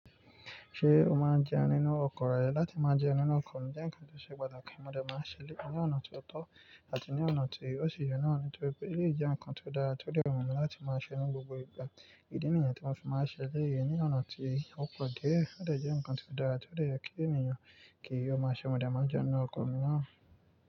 Ṣé o máa ń jẹun nínú ọkọ̀ rẹ? Látí máa jẹun nínú ọkọ̀ ní jẹ́ ǹkan tó ṣe pàtàkì. Mo dà máa ń ṣẹ́lẹ ní ọ̀nà tó tọ́ àti ní ọ̀nà tí ó ṣi yen naa. Nítorí pé èleyii jẹ́ ǹkan tó dára, ti o de wù mí láti máa ṣẹ ní gbogbo ìgbà. Ìdí nìyẹn tí mo sì máa ń ṣẹ́ elẹyi ní ọ̀nà tí ó pọ̀ díẹ̀. Ó de jẹ́ ǹkan tó dára ti ó yẹ kí ènìyàn kí ó máa ṣe. Mo de máa ń jẹun nínú ọkọ̀ mi náà.